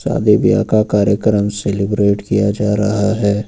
शादी ब्याह का कार्यक्रम सेलिब्रेट किया जा रहा है।